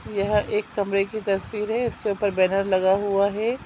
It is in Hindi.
यह एक कमरे की तस्वीर है इसके ऊपर बैनर लगा हुआ है।